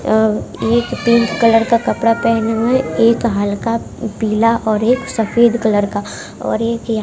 अ एक pink colour का कपड़ा पहने हुए एक हल्का पीला और एक सफेद कलर का और एक--